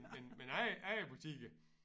Men men ejer ejerbutikker